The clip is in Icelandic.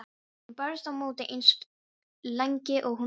Hún barðist á móti eins lengi og hún gat.